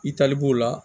I tali b'o la